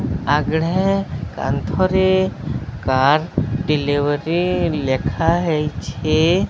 ଆଗଢ଼େ କାନ୍ଥରେ car delivery ଲେଖାହେଇଛି।